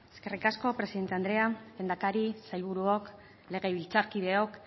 eskerrik asko presidente andrea lehendakari sailburuok legebiltzarkideok